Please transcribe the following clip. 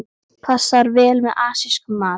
Passar vel með asískum mat.